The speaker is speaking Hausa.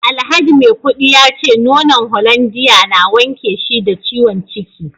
alhaji maikudi yace nonon hollandia na wanke shi da ciwon ciki